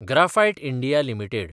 graphite India limited